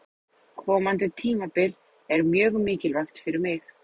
Komandi tímabil er mjög mikilvægt fyrir mig.